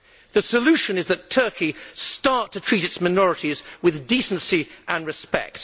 The solution is that Turkey start to treat its minorities with decency and respect.